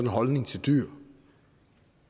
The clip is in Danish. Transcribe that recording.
holdning til dyr